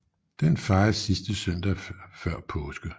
Den fejres sidste søndag før påske